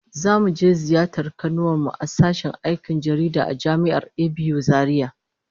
Zamu je ziyartar kanuwar mu a sashen aikin jaridah a Jami'ar ABU Zaria